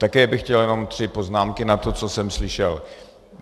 Také bych chtěl jenom tři poznámky na to, co jsem slyšel.